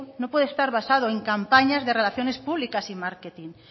no puede estar basado en campañas de relaciones públicas y marketing